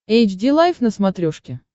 эйч ди лайф на смотрешке